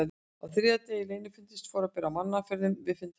Á þriðja degi leynifundarins fór að bera á mannaferðum við fundarstaðinn.